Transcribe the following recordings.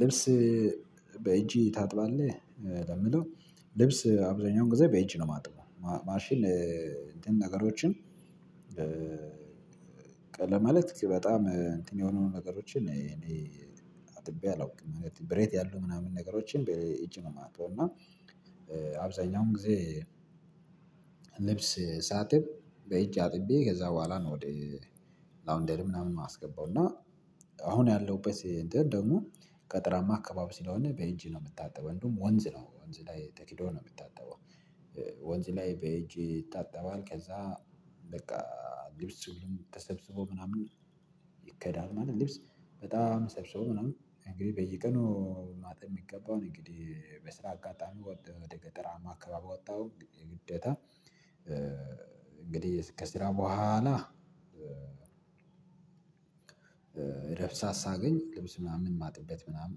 ልብስ በእጅ ታጥባለህ ለሚለው ልብስ አብዛኛውን ጊዜ በእጅ ነው የማጥበው ማሽን እንትን ነገሮችን። ለማለት በጣም እንትን የሆኑ ነገሮችን እኔ አጥቤ አላውቅም ብረት ያሉ ምናምን ነገሮችን በእጅ ነው የማጣው። እና አብዛኛውን ጊዜ ልብስ ሳጥብ በእጅ አጥቤ ከዛ በኋላ ነው ወደ ላውንደር ምናምን የማስገባው። እና አሁን ያለው እንትን ደግሞ ገጠራማ አካባቢ ስለሆነ በእጂ ነው የሚታጠበው እንደውም ወንዝ ነው ወንዝ ላይ ተሂዶ ነው የሚታጠበው። ወንዝ ላይ በእጂ ይታጠባል ከዛ በቃ ልብስ ተሰብስቦ ምናምን ይከዳል። ማለት ልብስ በጣም ሰብስቦ ምናምን እንግዲህ በየቀኑ ማጠብ የሚገባውን እንግዲህ በስራ አጋጣሚ ወደ ገጠራማ አካባቢ ወጣሁ የግዴታ። እንግዲህ ከስራ በኋላ ረፍት ሰዓት ሳገኝ ልብስ ምናምን የማጥበት ምናምን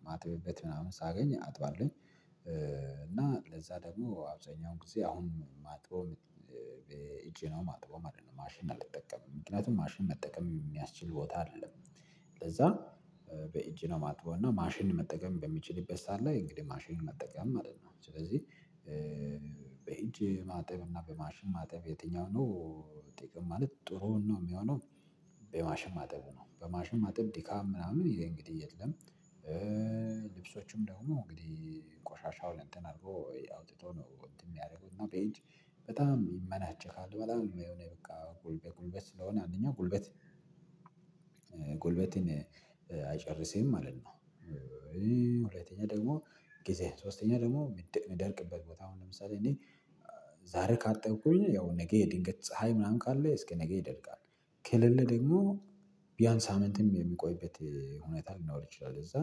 የማጥብበት ምናምን ሳገኝ አጥባለሁ። እና ለዛ ደግሞ አብዛኛውን ጊዜ አሁን እማጥበው በእጂ ነው የማጥበው ማሽን አልተጠቀምም ምክንያቱም ማሽን መጠቀም የሚያስችል ቦታ አይደለም። ለዛ በእጅ ነው ማጥበው። እና ማሽን መጠቀም በሚችልበት ሰዓት ላይ እንግዲህ ማሽን መጠቀም ማለት ነው ስለዚህ በእጂ ማጠብ እና በማሽን ማጠብ የትኛው ነው? ጥቅም ማለት ጥሩ ነው የሚሆነው። በማሽን ማጠብ ነው በማሽን ማጠብ ድካም ምናምን ይሄ እንግዲህ የለም። ልብሶችም ደግሞ እንግዲህ ቆሻሻውን እንትን አድርጎ ወይ አውጥቶ ነው እንትን የሚያደርጉት ነው። በእጂ በጣም ይመናቸካል በጣም የሆነ በቃ ጉልበት በጉልበት ስለሆነ አንደኛው ጉልበት ጉልበትን አይጨርስም ማለት ነው። ሁለተኛ ደግሞ ጊዜ ሶስተኛ ደግሞ እሚደርቅበት ቦታ አሁን ለምሳሌ እኔ ዛሬ ካጠብኩኝ ያው ነገ ድንገት ፀሀይ ምናምን ካለ እስከ ነገ ይደርቃል ከሌለ ደግሞ አንድ እሳትም የሚቆይበት ሁኔታ ሊኖር ይችላል። እዛ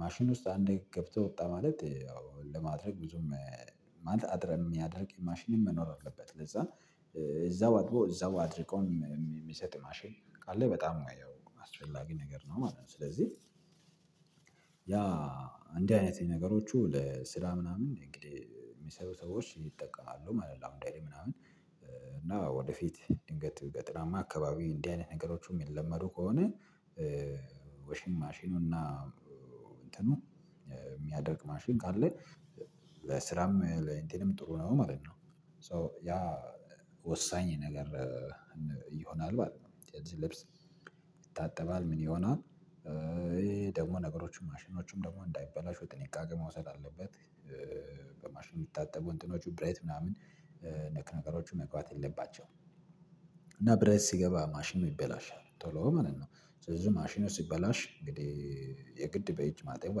ማሽን ውስጥ አንዴ ገብተው ወጣ ማለት ያው ለማድረግ ብዙም ማለት እሚያደርቅ ማሽን መኖር አለበት። ለዛ እዛው አጥቦ እዛው አድርቆ የሚሰጥ ማሽን ካለ በጣም አየው አስፈላጊ ነገር ነው ማለት ነው። ስለዚህ ያ እንዲህ አይነት ነገሮቹ ለስራ ምናምን እንግዲህ የሚሰሩ ሰዎች ይጠቀማሉ ማለት ነው። ላውንደሪ ምናምን እና ወደፊት ድንገት ገጥራማ አካባቢ እንዲህ አይነት ነገሮችን የሚለመዱ ከሆነ። ወሽ ማሽኑና እንትኑ የሚያደርቅ ማሽን ካለ ለስራም ለእንትንም ጥሩ ነው ማለት ነው። ሶ ያ ወሳኝ ነገር ይሆናል ማለት ነው። ስለዚህ ልብስ ይታጠባል ምን ይሆናል? ይሄ ደግሞ ነገሮችን ማሽኖችንም ደግሞ እንዳይበላሹ ጥንቃቄ መውሰድ አለበት። በማሽን የሚታጠቡ እንትኖቹ ብረት ምናምን ነክ ነገሮቹ መግባት የለባቸውም። እና ብሬት ሲገባ ማሽን ይበላሻል ቶሎ ማለት ነው። ስለዚህ ማሽኑ ሲበላሽ እንግዲህ የግድ በየጂ ማጠብ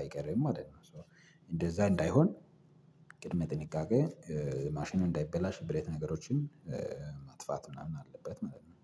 አይቀርም ማለት ነው። እንደዛ እንዳይሆን ቅድመ ጥንቃቄ ማሽኑን እንዳይበላሽ ብረት ነገሮችን ማጥፋት ምናምን አለበት መለመን